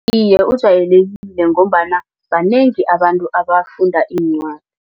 Iye, ujwayelekile ngombana banengi abantu abafunda iincwadi.